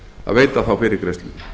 að veita þá fyrirgreiðslu